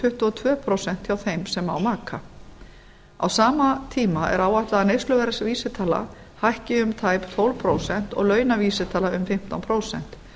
tuttugu og tvö prósent hjá þeim sem á maka á sama tíma er áætlað að neysluverðsvísitala hækki um tæp tólf prósent og launavísitala um fimmtán prósent